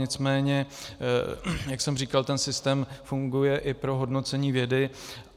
Nicméně, jak jsem říkal, ten systém funguje i pro hodnocení vědy.